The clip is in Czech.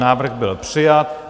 Návrh byl přijat.